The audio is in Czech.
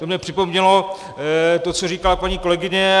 To mně připomnělo to, co řekla paní kolegyně.